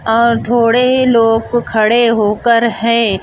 और थोड़े ही लोग को खड़े होकर है.